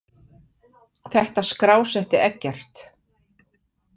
Þetta skrásetti Eggert.